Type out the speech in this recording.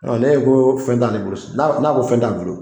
Ɔ ne ko fɛn t'ale bolo si n'a ko fɛn t'a bolo